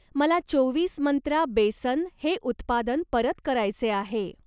मला चोवीस मंत्रा बेसन हे उत्पादन परत करायचे आहे.